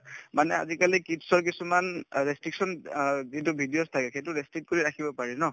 মানে আজিকালি kids ৰ কিছুমান অ restriction অ যিটো videos থাকে সেইটো কৰি ৰাখিব পাৰি ন